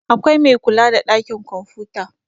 akwai Mai kula da ɗakin kwamfuta